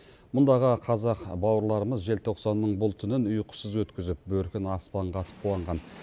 мұндағы қазақ бауырларымыз желтоқсанның бұл түнін ұйқысыз өткізіп бөркін аспанға атып қуанған